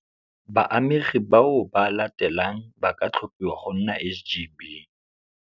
Baamegi bao ba latelang ba ka tlhophiwa go nna SGB.